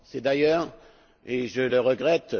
C'est d'ailleurs et je le regrette